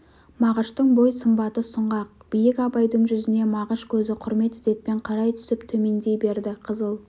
мағыштың бой сымбаты сұңғақ биік абайдың жүзіне мағыш көзі құрмет ізетпен қарай түсіп төмендей берді қызыл